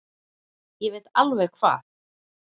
Ég veit alveg hvað